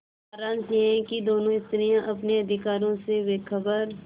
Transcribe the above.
सारांश यह कि दोनों स्त्रियॉँ अपने अधिकारों से बेखबर